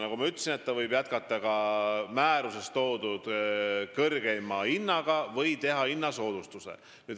Nagu ma ütlesin, võib jätkata ka määruses toodud kõrgeima hinnaga või teha hinnasoodustust.